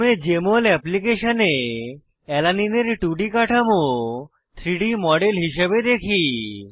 প্রথমে জেএমএল অ্যাপ্লিকেশনে অ্যালানিন এর 2ডি কাঠামো 3ডি মডেল হিসাবে দেখি